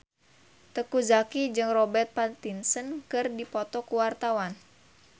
Teuku Zacky jeung Robert Pattinson keur dipoto ku wartawan